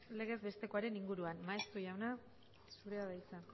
legez bestekoaren inguruan maeztu jauna zurea da hitza